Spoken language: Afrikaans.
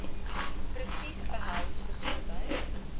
presies behels gesondheid